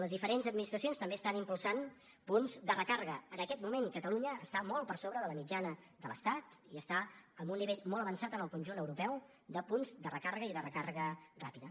les diferents administracions també estan impulsant punts de recàrrega en aquest moment catalunya està molt per sobre de la mitjana de l’estat i està amb un nivell molt avançat en el conjunt europeu de punts de recàrrega i de recàrrega ràpida